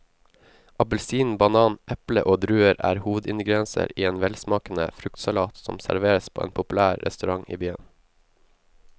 Appelsin, banan, eple og druer er hovedingredienser i en velsmakende fruktsalat som serveres på en populær restaurant i byen.